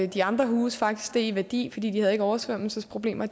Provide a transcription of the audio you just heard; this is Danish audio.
de andre huse faktisk steg i værdi fordi de havde oversvømmelsesproblemer